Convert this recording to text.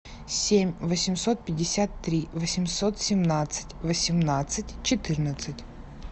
семь восемьсот пятьдесят три восемьсот семнадцать восемнадцать четырнадцать